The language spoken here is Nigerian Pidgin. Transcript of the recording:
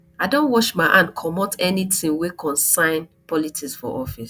i don wash my hand comot anytin wey concern politics for for office